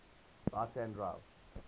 right hand drive